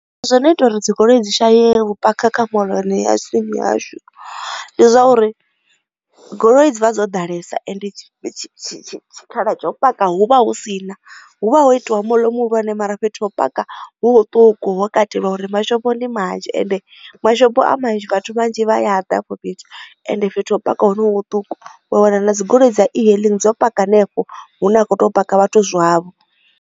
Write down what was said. Zwono ita uri dzigoloi dzi shaye vhu phakha kha moḽoni ya tsini hashu ndi zwa uri goloi dzi vha dzo ḓalesa ende tshikhala tsha u paka hu vha hu si na hu vha ho itiwa moḽo muhulwane mara fhethu ho paka hu huṱuku ho katelwa uri mashopo ndi manzhi ende mashopo a manzhi vhathu vhanzhi vha ya ḓa hafho fhethu ende fhethu ha u paka ha ho no hu huṱuku wa wana na dzigoloi dza e hailing dzo paka hanefho hune a khou tea u paka vhathu zwavho.